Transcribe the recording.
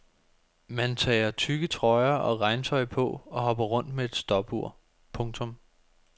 Man tager tykke trøjer og regntøj på og hopper rundt med et stopur. punktum